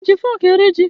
I ji fọọkụ eri ji?